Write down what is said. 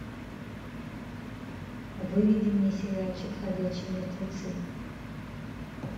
выведи мне сериальчик ходячие мертвецы